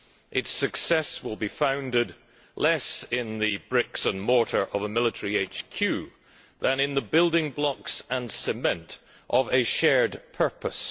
Its success will be founded less on the bricks and mortar of a military HQ than on the building blocks and cement of a shared purpose.